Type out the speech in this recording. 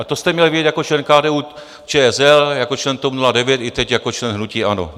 A to jste měl vědět jako člen KDU-ČSL, jako člen TOP 09 i teď jako člen hnutí ANO.